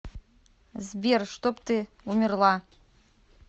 сбер чтоб ты умерла